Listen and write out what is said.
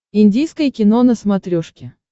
индийское кино на смотрешке